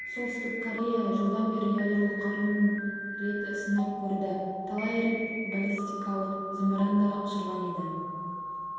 солтүстік корея жылдан бері ядролық қаруын рет сынап көрді талай рет баллистикалық зымыран да ұшырған еді